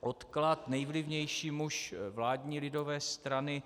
odklad nejvlivnější muž vládní lidové strany,